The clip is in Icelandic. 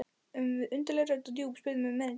Undarleg rödd og djúp spurði mig um erindið.